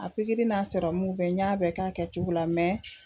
A pikiri n'a serɔmuw bɛɛ n y'a bɛɛ k'a kɛcogo la